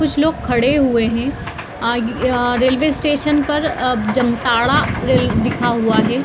कुछ लोग खड़े हुए हैं रेलवे स्टेशन पर अ जामताड़ा लिखा हुआ है।